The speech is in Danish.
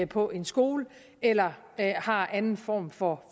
på en skole eller har anden form for